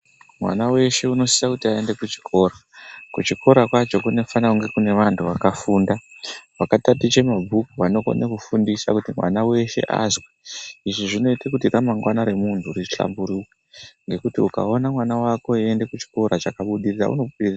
Mwana weshe anosisa aende kuchikora kuchikora kwacho kunofana kunge kune antu akafunda akataticha mabhuku anokona kufundisa kuti mwana weshe azwe izvi zvinoita kuti ramangwana remuntu rihlamburuke ngekuti ukaona mwana wako weienda Kuchikora chakabudirire unopera.